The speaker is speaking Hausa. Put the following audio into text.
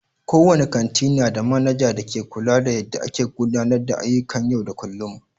Kowane kanti nada manaja da ke kula da yadda a ke gudanar da ayyukan yau da kullum.